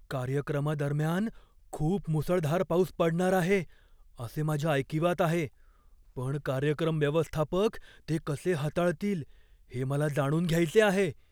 कार्यक्रमादरम्यान खूप मुसळधार पाऊस पडणार आहे असे माझ्या ऐकिवात आहे, पण कार्यक्रम व्यवस्थापक ते कसे हाताळतील हे मला जाणून घ्यायचे आहे.